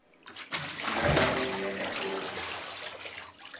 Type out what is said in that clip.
silala endlini yakagogo